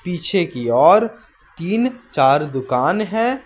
पीछे की ओर तीन चार दुकान है।